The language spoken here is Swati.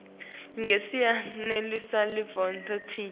ngasinye sinelivoti linye